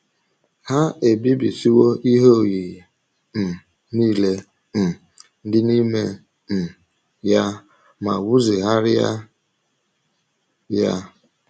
Ha ebibisiwo ihe oyiyi um nile um dị n’ime um ya ma wuzigharịa ya.